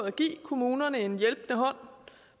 at give kommunerne en hjælpende hånd